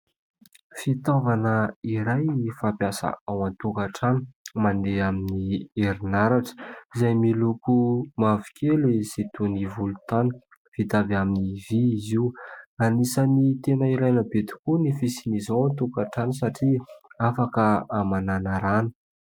Fitaovana iray fampiasa ao an-tokantrano mandeha amin'ny herinaratra, izay miloko mavokely sy toy ny volontany. Vita avy amin'ny vy izy io. Anisan'ny tena ilaina be tokoa ny fisian' izao ao an-tokantrano satria afaka hamanana rano.